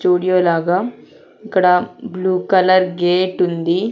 Studio లాగా ఇక్కడ blue colour గేటుంది .